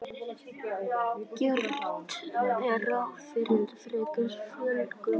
Gert er ráð fyrir frekari fjölgun